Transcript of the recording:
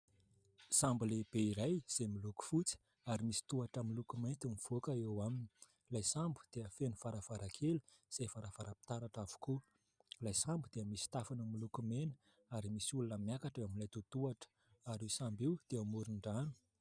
Sambo lehibe iray izay miloko fotsy ary misy tohatra miloko mainty mivoaka eo aminy. Ilay sambo dia feno varavarakely izay varavaram-pitaratra avokoa. Ilay sambo dia misy tafony miloko mena ary misy olona miakatra eo amin'ilay totohatra, ary io sambo io dia eo amoron-drano.